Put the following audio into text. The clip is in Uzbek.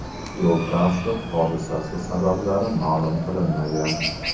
Yo‘l-transport hodisasi sabablari ma’lum qilinmagan.